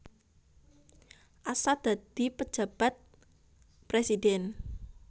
Assaat dadi Pejabat Presiden